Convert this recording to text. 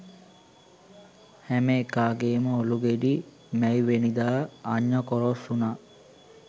හැම එකාගෙම ඔළු ගෙඩි මැයිවෙනිදා අඤ්ඤකොරොස් වුනා